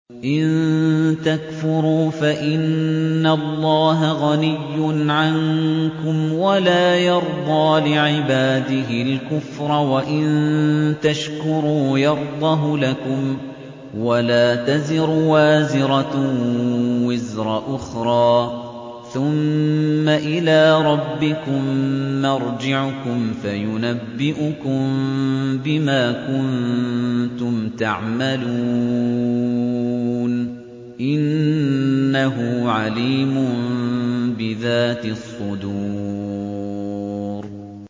إِن تَكْفُرُوا فَإِنَّ اللَّهَ غَنِيٌّ عَنكُمْ ۖ وَلَا يَرْضَىٰ لِعِبَادِهِ الْكُفْرَ ۖ وَإِن تَشْكُرُوا يَرْضَهُ لَكُمْ ۗ وَلَا تَزِرُ وَازِرَةٌ وِزْرَ أُخْرَىٰ ۗ ثُمَّ إِلَىٰ رَبِّكُم مَّرْجِعُكُمْ فَيُنَبِّئُكُم بِمَا كُنتُمْ تَعْمَلُونَ ۚ إِنَّهُ عَلِيمٌ بِذَاتِ الصُّدُورِ